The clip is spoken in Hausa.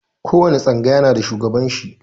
Ko wani tsangaya na da shugaban shi.